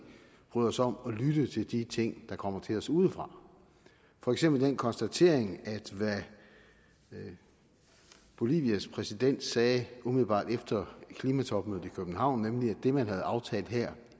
bryder os om at lytte til de ting der kommer til os udefra for eksempel den konstatering at hvad bolivias præsident sagde umiddelbart efter klimatopmødet i københavn nemlig at det man havde aftalt her